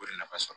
O de nafa sɔrɔ